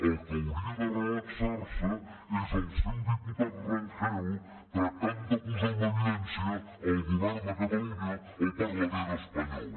el que hauria de relaxarse és el seu diputat rangel tractant de posar en evidència el govern de catalunya al parlament espanyol